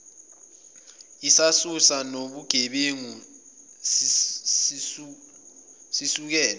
isisusa sobugebengu sisukela